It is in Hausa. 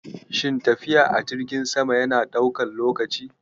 Shin tafiya a jirgin sama yana ɗaukan lokaci